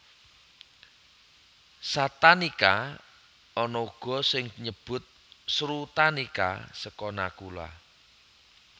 Satanika ana uga sing nyebut Srutanika seka Nakula